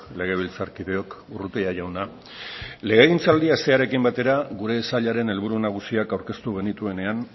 legebiltzarkideok urrutia jauna legegintzaldia hastearekin batera gure sailaren helburu nagusiak aurkeztu genituenean